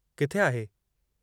किथे आहे?